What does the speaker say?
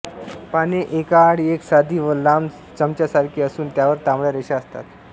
पाने एकाआड एक साधी व लांब चमच्यांसारखी असून त्यांवर तांबड्या रेषा असतात